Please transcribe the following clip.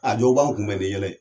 A dɔw b'an kunbɛn ni yɛlɛ